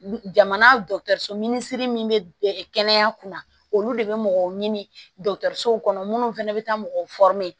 Jamana dɔgɔtɔrɔso minisiri min bɛ kɛnɛya kunna olu de bɛ mɔgɔw ɲini minnu fana bɛ taa mɔgɔw